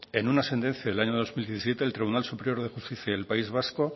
en una sentencia del año dos mil diecisiete el tribunal superior de justicia del país vasco